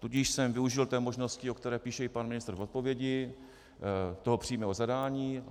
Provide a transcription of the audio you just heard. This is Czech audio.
Tudíž jsem využil té možnosti, o které píše i pan ministr v odpovědi, toho přímého zadání.